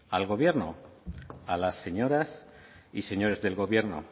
al gobierno a las señoras y señores del gobierno